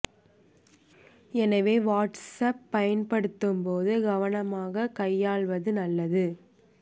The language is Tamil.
எனவே வாட்ஸ் ஆப் பயன்படுத்தும் போது கவனமாக கையாள்வது நல்லது